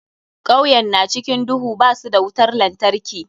Kauyen na cikin duhu, ba su da wutar lantarki.